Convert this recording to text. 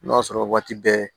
I b'a sɔrɔ waati bɛɛ